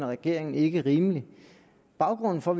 regeringen ikke rimelig baggrunden for